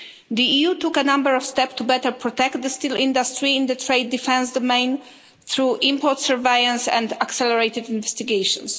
The EU took a number of steps to better protect the steel industry in the trade defence domain through import surveillance and accelerated investigations.